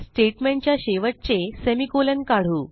statement च्या शेवटचे semi colon काढू